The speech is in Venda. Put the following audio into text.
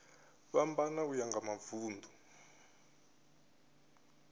fhambana uya nga mavun ḓu